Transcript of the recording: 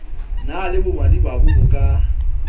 na le bomadimabe bo ka